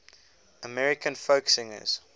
american folk singers